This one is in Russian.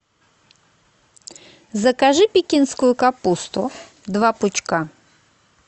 закажи пекинскую капусту два пучка